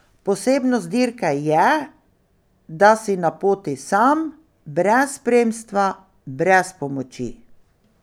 Posebnost dirke je, da si na poti sam, brez spremstva, brez pomoči.